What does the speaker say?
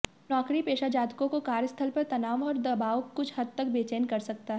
नौकरीपेशा जातकों को कार्यस्थल पर तनाव और दबाव कुछ हद तक बेचैन कर सकता हैं